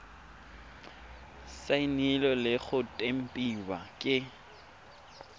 saenilwe le go tempiwa ke